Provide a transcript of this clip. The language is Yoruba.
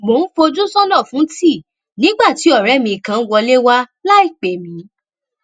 mò ń fojú sónà fún tíì nígbà tí òré mi kan wọlé wá láìpè mí